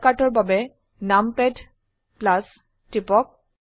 শৰ্টকাটৰ বাবে নামপাদ টিপক